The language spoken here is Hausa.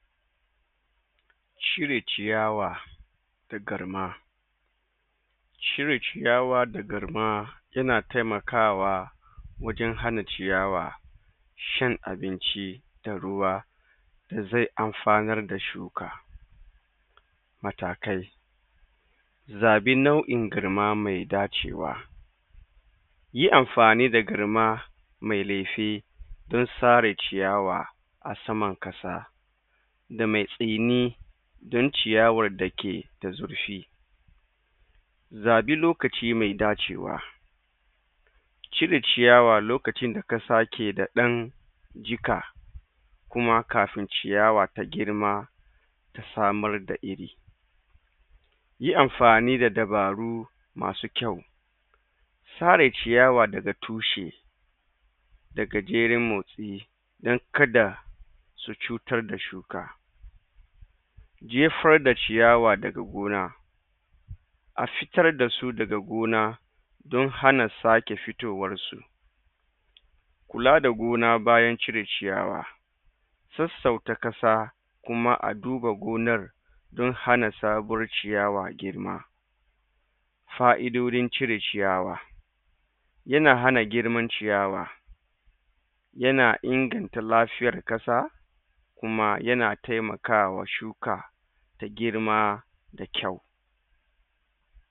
cire ciyawa da garma cire ciyawa da garma yana temakawa wajan hana ciyawa cin abinci da ruwa da ze amfanar da shuka matakai za ɓi nau in garma medacewa yi amfani da garma me lefe dan sare ciyawa asaman ƙasa da me tsini don ciyawar dake da zurfi zaɓi lokaci me dacea cire ciyawa lokacin da ka sake da ɗan jiƙa kuma kafin ciyawa ta girma samar da iri yi amfani da dabaru masu kyau tare ciyawa daga tushe daga jeran motsi dan kada da cutar da shuka jefar da ciyawa daga gona afitar dasu daga gona don hana sake fitowarsu kula da gona bayan cire ciyawa tussau ta ƙasa kuma aduba gonar don hana sabuwar ciyawa girma fa'idodin cirewa yana hana girman ciyawa yana inganta lafiyar ƙasa kuma yana temakawa shuka da girma da kayu